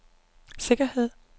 sikkerhed